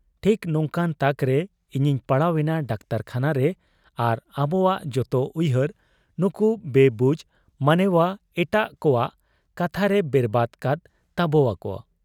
ᱴᱷᱤᱠ ᱱᱚᱝᱠᱟᱱ ᱛᱟᱠᱨᱮ ᱤᱧᱤᱧ ᱯᱟᱲᱟᱣ ᱮᱱᱟ ᱰᱟᱠᱛᱚᱨᱠᱷᱟᱱᱟᱨᱮ ᱟᱨ ᱟᱵᱚᱣᱟᱜ ᱡᱚᱛᱚ ᱩᱭᱦᱟᱹᱨ ᱱᱩᱠᱩ ᱵᱮᱵᱩᱡᱽ ᱢᱟᱱᱮᱶᱟ ᱮᱴᱟᱜ ᱠᱚᱣᱟᱜ ᱠᱟᱛᱷᱟᱨᱮ ᱵᱮᱨᱵᱟᱫᱽ ᱠᱟᱫ ᱛᱟᱵᱚᱣᱟᱠᱚ ᱾